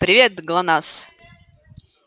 привет глонассс